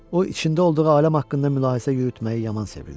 O içində olduğu aləm haqqında mülahizə yürütməyi yaman sevirdi.